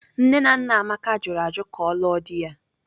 Nne na nna Amaka jụrụ ajụ ka ọ lụọ di ya.